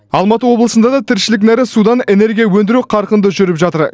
алматы облысында да тіршілік нәрі судан энергия өндіру қарқынды жүріп жатыр